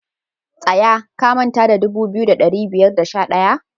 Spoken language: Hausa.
Tsaya, ka manta da dubu biyu da dari biyu da sha daya!